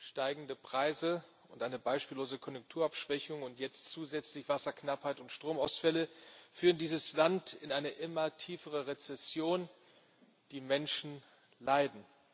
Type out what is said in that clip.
Steigende Preise und eine beispiellose Konjunkturabschwächung und jetzt zusätzlich Wasserknappheit und Stromausfälle führen dieses Land in eine immer tiefere Rezession die Menschen leiden.